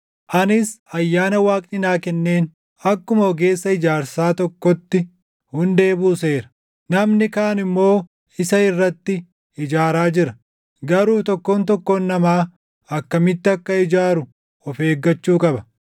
Anis ayyaana Waaqni naa kenneen akkuma ogeessa ijaarsaa tokkootti hundee buuseera; namni kaan immoo isa irratti ijaaraa jira. Garuu tokkoon tokkoon namaa akkamitti akka ijaaru of eeggachuu qaba.